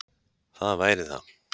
Það væri það